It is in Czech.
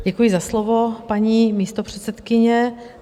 Děkuji za slovo, paní místopředsedkyně.